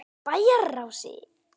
Bæjarási